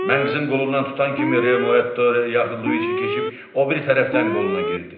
Mən qızın qolundan tutan kimi, Remuet, Tore, yaxud Luiçi keçib o biri tərəfdən qoluna girdi.